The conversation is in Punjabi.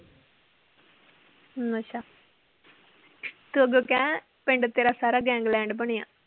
ਅੱਛਾ ਤੂੰ ਅੱਗੋਂ ਕਹਿ ਪਿੰਡ ਤੇਰਾ ਸਾਰਾ gangland ਬਣਿਆ